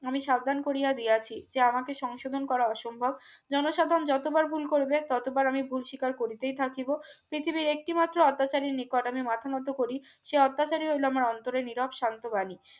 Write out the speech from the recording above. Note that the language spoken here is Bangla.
আমি সাবধান করিয়া দিয়েছি যে আমাকে সংশোধন করা অসম্ভব জনসাধারণ যতবার ভুল করবে ততবার আমি ভুল শিকার করিতেই থাকিব পৃথিবীর একটি মাত্র অত্যাচারীর নিকট আমি মাথা নত করি সে অত্যাচারী হইল আমার অন্তরে নীরব শান্ত বাণী